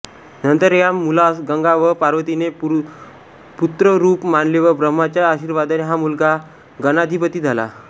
नंतर या मुलास गंगा व पार्वतीने पुत्ररूप मानले व ब्रह्माच्या आशिर्वादाने हा मुलगा गणाधिपती झाला